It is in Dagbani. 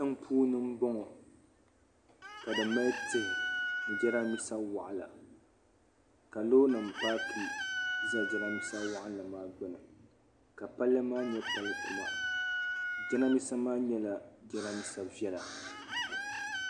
Tin puuni n bɔŋɔ, ka di mali tihi ni jiran bisa waɣila ka lɔɔrinim paaki. n ʒɛ jiran bisa nim maa gbuni, ka palli maa nyɛ pali ku ma jiran bisa maa nyɛla jiranbisa vela